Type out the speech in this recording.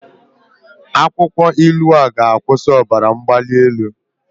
Akwụkwọ ilu ọ ga-akwụsị ọbara mgbali elu?